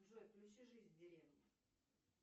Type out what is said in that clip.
джой включи жизнь в деревне